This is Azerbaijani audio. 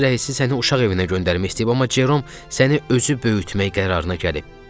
Polis rəisi səni uşaq evinə göndərmək istəyib, amma Jerom səni özü böyütmək qərarına gəlib.